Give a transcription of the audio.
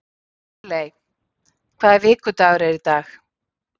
Lóreley, hvaða vikudagur er í dag?